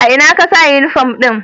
A ina ka sa uniform ɗin?